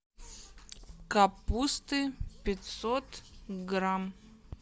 капусты пятьсот грамм